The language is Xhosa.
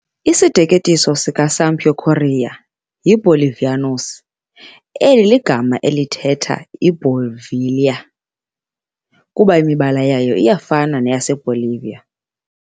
Isiteketiso sikaSampaio Corrêa "yiBolivianos" eli ligama elithetha "iiBolivia" kuba imibala yayo iyafana neyaseBolivia.